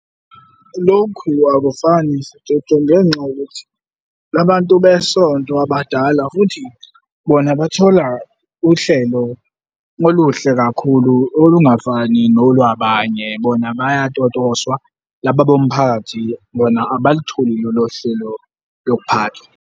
Lokhu akufani sijojo ngenxa yokuthi la bantu besonto abadala futhi bona bathola uhlelo oluhle kakhulu olungafani nolwabanye, bona bayatotoswa. Laba bomphakathi bona abalutholi lolo hlelo lokuphatha.